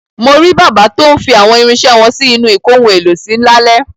Mo rí bàbá tó ń fi àwọn irinṣẹ́ wọn sí inú ìkóhun-èlò-sí lálẹ́.